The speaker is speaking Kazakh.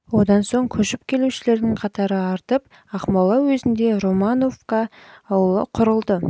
одан соң көшіп келушілердің қатары артып жылы ақмола уезінде романовка ауылы құрылды